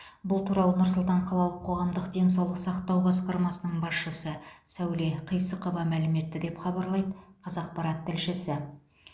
бұл туралы нұр сұлтан қалалық қоғамдық денсаулық сақтау басқармасының басшысы сәуле қисықова мәлім етті деп хабарлайды қазақпарат тілшісі